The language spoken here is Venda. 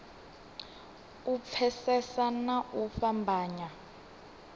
u pfesesa na u fhambanya